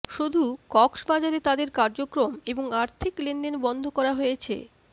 শুধু কক্সবাজারে তাদের কার্যক্রম এবং আর্থিক লেনদেন বন্ধ করা হয়েছে